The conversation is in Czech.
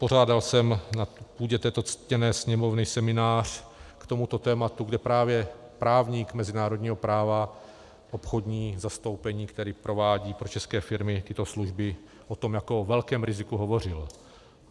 Pořádal jsem na půdě této ctěné Sněmovny seminář k tomuto tématu, kde právě právník mezinárodního práva, obchodní zastoupení, který provádí pro české firmy tyto služby, o tom jako o velkém riziku hovořil.